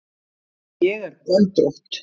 Ég er göldrótt.